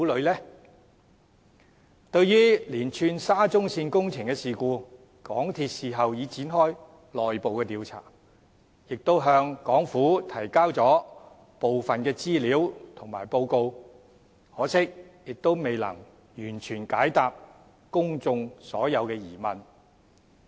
就沙中線連串的工程事故，港鐵公司事後已展開內部調查，亦向港府提交了部分的資料和報告，可惜未能完全解答公眾所有的疑問。